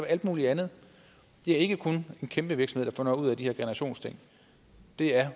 alt muligt andet det er ikke kun en kæmpe virksomhed der får noget ud af de her generationsting det er